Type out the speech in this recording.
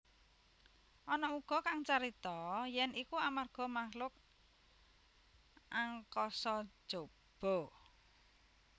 Ana uga kang carita yèn iku amarga makhluk angkasa jaba